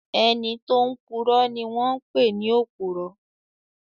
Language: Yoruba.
Ẹni tó máa n purọ́ ni wọ́n pè ní òpùrọ́